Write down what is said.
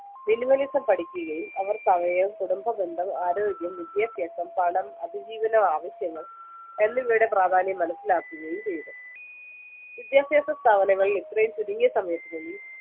minimalism പഠിക്കുകയും അവർക്ക് അവയും കുടുംബബന്ധം ആരോഗ്യം വിദ്യാഭ്യാസം പണം അതിജീവന ആവിശ്യങ്ങൾ എന്നിവയുടെ പ്രാധാന്യം മനസിലാക്കുകയും ചെയ്‌തു വിദ്യഭ്യാസ സ്ഥാപനങ്ങളിൽ ഇത്രയും ചുരുങ്ങിയ സമയത്തിനുള്ളിൽ